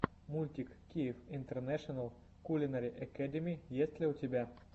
мультик киев интернэшенал кулинари экэдими есть ли у тебя